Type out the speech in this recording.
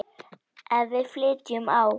Ef við flytjum á